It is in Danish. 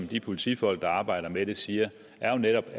de politifolk der arbejder med det siger er jo netop